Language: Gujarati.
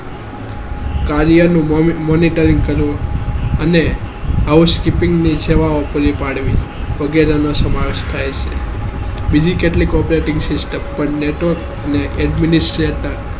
કાર્યનું monitoring કરવું અને આવો speaking ની સેવાઓને પાડવી વગેરેનો સમાવેશ થાય છે બીજી કેટલીક operating system પણ network અને administration